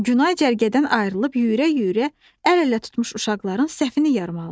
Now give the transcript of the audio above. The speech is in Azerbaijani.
Günay cərgədən ayrılıb yüyürə-yüyürə əl-ələ tutmuş uşaqların səhfini yarmalıdır.